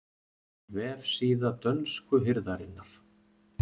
Vefsíða dönsku hirðarinnar